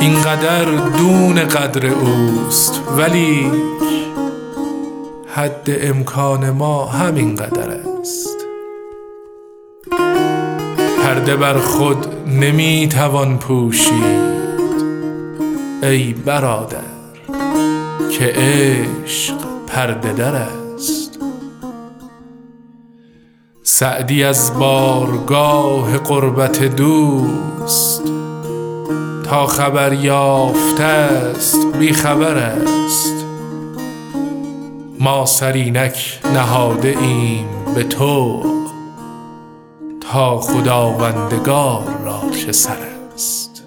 این قدر دون قدر اوست ولیک حد امکان ما همین قدر است پرده بر خود نمی توان پوشید ای برادر که عشق پرده در است سعدی از بارگاه قربت دوست تا خبر یافته ست بی خبر است ما سر اینک نهاده ایم به طوع تا خداوندگار را چه سر است